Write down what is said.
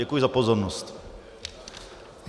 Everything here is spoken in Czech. Děkuji za pozornost.